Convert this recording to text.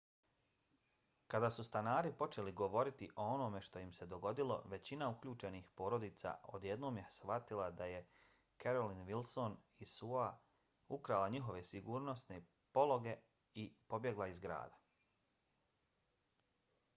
kada su stanari počeli govoriti o onome što im se dogodilo većina uključenih porodica odjednom je shvatila da je carolyn wilson iz suo-a ukrala njihove sigurnosne pologe i pobjegla iz grada